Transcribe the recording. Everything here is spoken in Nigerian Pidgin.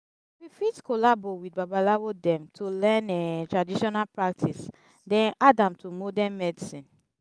we fit collabo with babalawo dem to learn um traditional practice then add am to modern medicine